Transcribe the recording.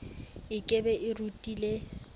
e ke be e rutile